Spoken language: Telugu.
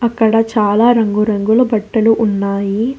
అక్కడ చాలా రంగురంగుల బట్టలు ఉన్నాయి.